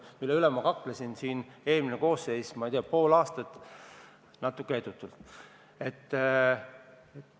Selle pärast ma kaklesin siin eelmise koosseisu ajal, ma ei tea, pool aastat, aga natuke edutult.